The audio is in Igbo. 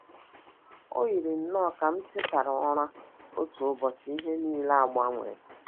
O yiri nnọọ ka m tetara ụra otu ụbọchị ihe nile agbanwee.